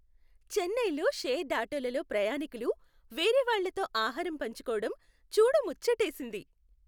చెన్నైలో షేర్డ్ ఆటోలలో ప్రయాణీకులు వేరేవాళ్ళతో ఆహారం పంచుకోవడం చూడముచ్చటేసింది.